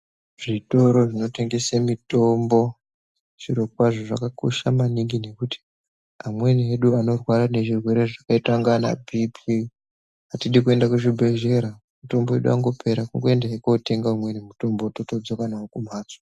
Zvitoro zvinotengese mutombo zviro kwazvo zvakakosha maningi ngekuti amweni edu anorwara nezvirwere zvakaaita kunga anaBP atidi kuenda kuzvibhedhlera, mutombo wedu wangopera kungoenda kotenga umweni mutombo totodzoka kumhatso.